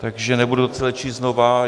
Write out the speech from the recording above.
Takže nebudu to celé číst znova.